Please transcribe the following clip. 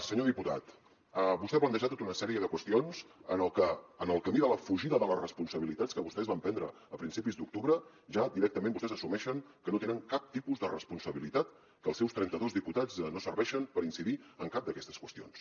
senyor diputat vostè ha plantejat tota una sèrie de qüestions en les que en el camí de la fugida de les responsabilitats que vostès van prendre a principis d’octubre ja directament vostès assumeixen que no tenen cap tipus de responsabilitat que els seus trentados diputats no serveixen per incidir en cap d’aquestes qüestions